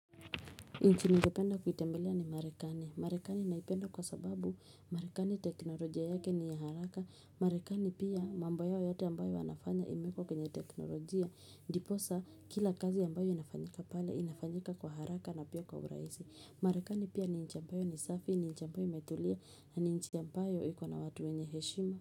Nchi ningependa kuitembelea ni marekani. Marekani naipenda kwa sababu marekani teknolojia yake ni ya haraka. Marekani pia mambo yote ambayo wanafanya imeekwa kwenye teknolojia. Ndiposa kila kazi ambayo inafanyika pale inafanyika kwa haraka na pia kwa urahisi. Marekani pia ni nchi ambayo ni safi, ni nchi ambayo imetulia na ni nchi ambayo iko na watu wenye heshima.